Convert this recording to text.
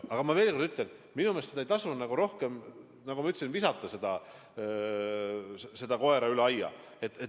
Aga ma veel kord ütlen, et minu meelest ei tasu rohkem, nagu ma ütlesin, visata seda koera üle aia.